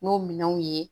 N'o minɛnw ye